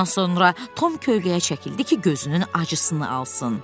Bundan sonra Tom kölgəyə çəkildi ki, gözünün acısını alsın.